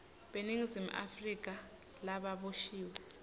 beningizimu afrika lababoshiwe